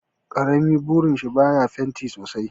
karamin burishin baya fenti sosai